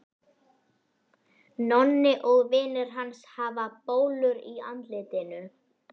Nonni og vinir hans hafa bólur í andlitinu.